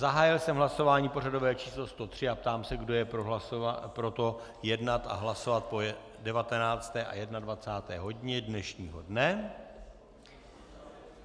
Zahájil jsem hlasování pořadové číslo 103 a ptám se, kdo je pro to, jednat a hlasovat po 19. a 21. hodině dnešního dne.